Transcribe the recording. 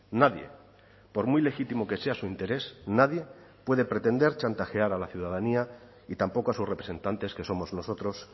nadie por muy legítimo que sea su interés nadie puede pretender chantajear a la ciudadanía y tampoco a sus representantes que somos nosotros